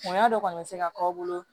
Bonya dɔ kɔni bɛ se ka k'aw bolo